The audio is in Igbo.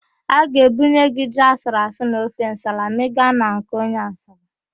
A ga-ebunye gị ji asụruasụ na ofe nsala ma ị ga na nke onye Asaba.